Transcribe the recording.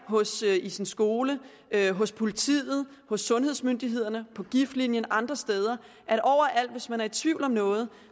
i sin skole hos politiet hos sundhedsmyndighederne på giftlinjen og andre steder hvis man er i tvivl om noget